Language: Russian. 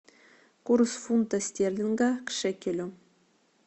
курс фунта стерлинга к шекелю